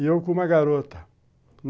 E eu com uma garota.